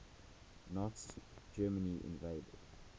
nazi germany invaded